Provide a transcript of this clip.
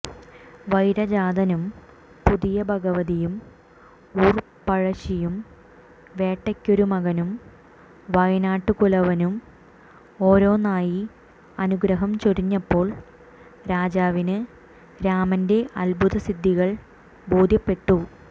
വൈരജാതനും പുതിയഭഗവതിയും ഊർപ്പഴശ്ശിയും വേട്ടക്കൊരുമകനും വയനാട്ടുകുലവനും ഒാരോന്നായി അനുഗ്രഹം ചൊരിഞ്ഞപ്പോൾ രാജാവിന് രാമന്റെ അത്ഭുതസിദ്ധികൾ ബോധ്യപ്പെട്ടു